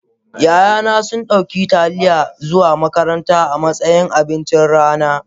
ya'yana sun dauki Taliya zuwa makaranta a matsayin abincin rana